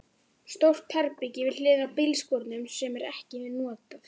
Stórt herbergi við hliðina á bílskúrnum sem er ekkert notað.